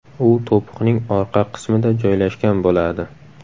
U to‘piqning orqa qismida joylashgan bo‘ladi.